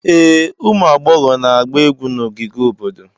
Ee, ụmụ agbọghọ na-agba egwu na ogige obodo.